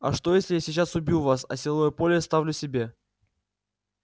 а что если я сейчас убью вас а силовое поле оставлю себе